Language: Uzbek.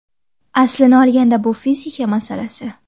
Aslini olganda bu fizika masalasi.